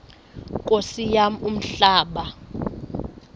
nkosi yam umhlaba